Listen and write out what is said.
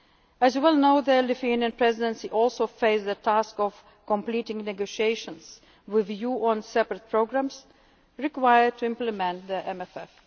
than a budget. As you well know, the Lithuanian Presidency also faced the task of completing negotiations with you on separate programmes required to implement